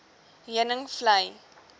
heuningvlei